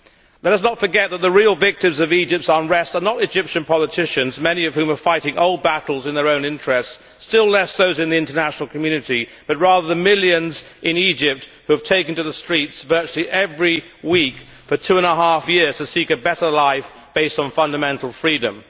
Let us not forget that the real victims of Egypt's unrest are not Egyptian politicians, many of whom are fighting old battles in their own interests, still less those in the international community, but rather the millions in Egypt who have taken to the streets virtually every week for two and a half years to seek a better life based on fundamental freedom.